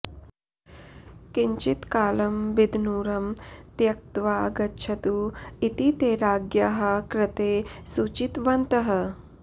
किञ्चित्कालं बिदनूरुं त्यक्त्वा गच्छतु इति ते राज्ञ्याः कृते सूचितवन्तः